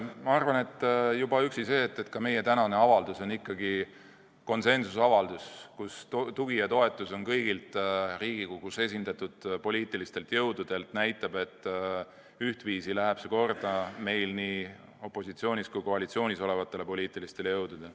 Ma arvan, et juba üksi see, et meie tänane avaldus on ikkagi konsensuslik avaldus, mida toetavad kõik Riigikogus esindatud poliitilised jõud, näitab, et ühtviisi läheb see korda nii opositsioonis kui koalitsioonis olevatele poliitilistele jõududele.